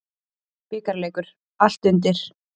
Bikarleikur, allt undir.